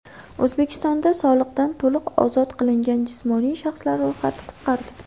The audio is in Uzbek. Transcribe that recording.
O‘zbekistonda soliqdan to‘liq ozod qilingan jismoniy shaxslar ro‘yxati qisqardi.